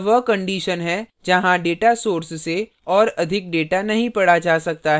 यह वह condition है जहाँ data source से और अधिक data नही पढ़ा जा सकता है